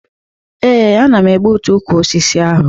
Ee, ana m egbutu ukwu osisi ahụ